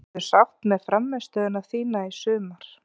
Ertu sátt með frammistöðuna þína í sumar?